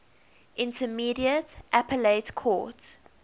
intermediate appellate court